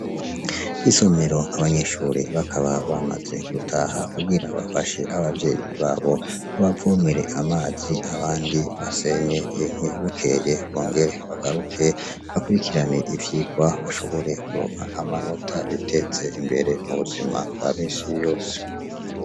Isomero. Abanyeshure bakaba bamaze gutaha kugira bafashe abavyeyi babo, babavomere amazi abandi basenye inkwi, bukeye bongere bagaruke, bakurikirane ivyigwa, bashobore kuronka amanota, biteze imbere mubuzima bwa minsi yose.